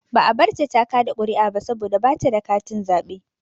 Ba a barta ta kaɗa ƙuri'a ba saboda ba ta da katin zaɓe.